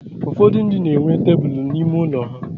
ụfọdụ ndị na-enwe tebụl n'ime ụlọ ha.